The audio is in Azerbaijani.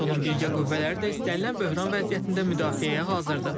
NATO-nun birgə qüvvələri də istənilən böhran vəziyyətində müdafiəyə hazırdır.